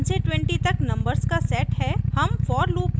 हमारे पास 1 से 20 तक नंबर्स का सेट है